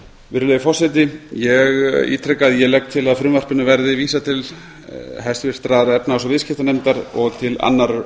virðulegi forseti ég ítreka að ég legg til að frumvarpinu verði vísað til háttvirtrar efnahags og viðskiptanefndar og til annarrar